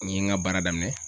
N ye ŋa baara daminɛ